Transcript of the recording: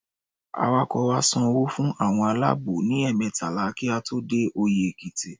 Awakọ̀ wa san owó fún àwọn aláàbò ní ẹ̀ẹ̀mẹtàlá kí a tó dé Oyẹ́ Èkìtì.